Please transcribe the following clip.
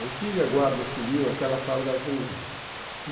Antiga guarda civil, aquela farda azul.